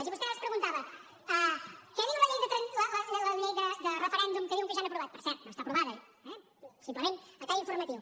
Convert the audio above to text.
i vostè abans preguntava què diu la llei de referèndum que diuen que ja han aprovat per cert no està aprovada simplement a tall informatiu